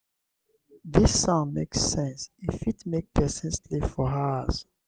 dis sound make sense e fit make pesin sleep for hours.